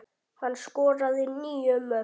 Hann skoraði níu mörk.